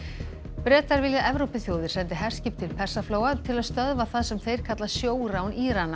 Bretar vilja að Evrópuþjóðir sendi herskip til Persaflóa til að stöðva það sem þeir kalla sjórán Írana